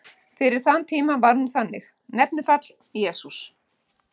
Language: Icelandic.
Fyrir þann tíma var hún þannig: Nefnifall: Jesús